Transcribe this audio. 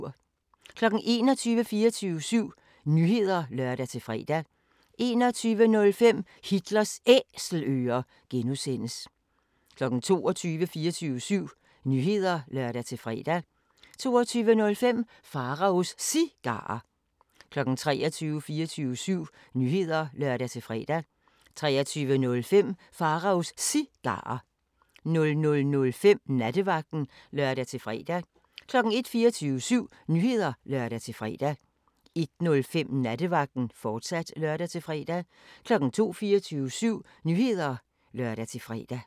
21:00: 24syv Nyheder (lør-fre) 21:05: Hitlers Æselører (G) 22:00: 24syv Nyheder (lør-fre) 22:05: Pharaos Cigarer 23:00: 24syv Nyheder (lør-fre) 23:05: Pharaos Cigarer 00:05: Nattevagten (lør-fre) 01:00: 24syv Nyheder (lør-fre) 01:05: Nattevagten, fortsat (lør-fre) 02:00: 24syv Nyheder (lør-fre)